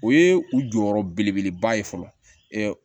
O ye u jɔyɔrɔ belebeleba ye fɔlɔ